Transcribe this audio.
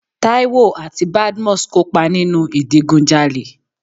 Táíwò àti Badmus kópa nínu ìdigunjalè.